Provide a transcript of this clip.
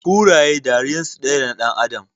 Kuraye ɗariyan su ɗaya da ɗan adam